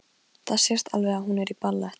Það sést alveg að hún er í ballett.